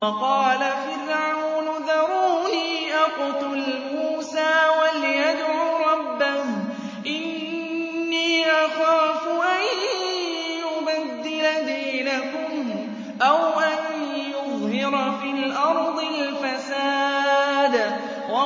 وَقَالَ فِرْعَوْنُ ذَرُونِي أَقْتُلْ مُوسَىٰ وَلْيَدْعُ رَبَّهُ ۖ إِنِّي أَخَافُ أَن يُبَدِّلَ دِينَكُمْ أَوْ أَن يُظْهِرَ فِي الْأَرْضِ الْفَسَادَ